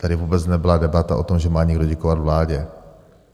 Tady vůbec nebyla debata o tom, že má někdo děkovat vládě.